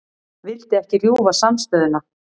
Vildi ekki rjúfa samstöðuna